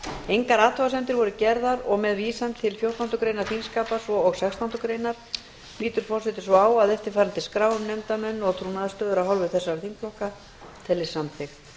engar athugasemdir voru gerðar og með vísan til fjórtándu greinar þingskapa svo og sextándu grein lítur forseti svo á að eftirfarandi skrá um nefndarmenn og trúnaðarstöður af hálfu þessara þingflokka teljist samþykkt